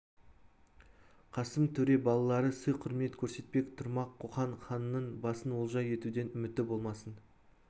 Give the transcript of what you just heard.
қасым төре балалары сый-құрмет көрсетпек тұрмақ қоқан ханының басын олжа етуден үміті болмасын